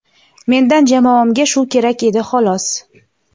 Mendan jamoamga shu kerak edi xolos.